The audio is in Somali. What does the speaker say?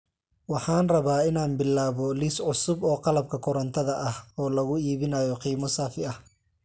Waxaan rabaa inaan bilaabo liis cusub oo qalabka korantada ah oo lagu iibinayo qiimo saafi ah